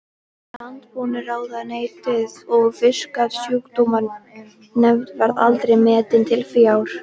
Landbúnaðarráðuneytið og Fisksjúkdómanefnd, verða aldrei metin til fjár.